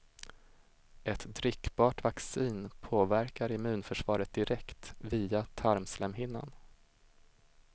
Ett drickbart vaccin påverkar immunförsvaret direkt via tarmslemhinnan.